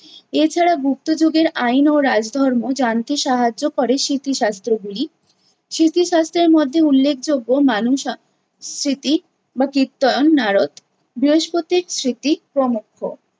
এছাড়া গুপ্ত যুগের আইন ও রাজধর্ম জানতে সাহায্য করে স্মৃতি শাস্ত্রগুলি। স্মৃতি শাস্ত্রের মধ্যে উল্লেখযোগ্য মানুষ স্মৃতি বা কীর্তন নারদ, বৃহস্পতির স্মৃতি প্রমুখ।